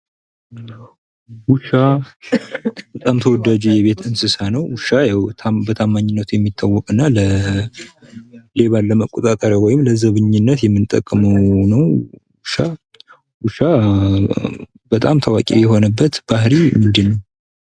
ውሻ በጣም ተወዳጅ የቤት እንስሳ ነው። ውሻ ያው በታማኝነቱ የሚታወቅ እና ሌባን ለመቆጣጠር ወይም ለዘበኛነት የምንጠቀመው ነው። ውሻ በጣም ታዋቂ የሆነበት ባህሪው ምንድነው?